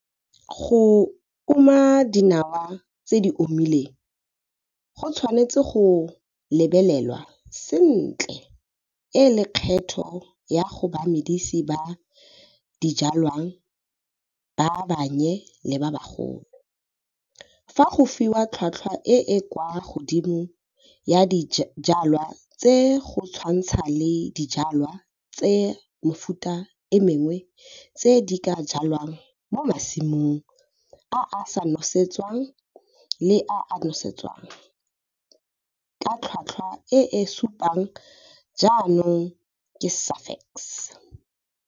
Go uma dinawa tse di omileng go tshwanetse go lebelelwa sentle e le kgetho go bamedisi ba dijwalwa ba bannye le ba bagolo, fa go fiwa tlhotlhwa e e kwa godimo ya dijwalwa tse go tshwantsha le dijwalwa tsa mefuta e mengwe tse di ka jwalwang mo masimong a a sa nosetsweng le a a nosetswang ka tlhotlhwa e e supiwang jaanong ke Safex.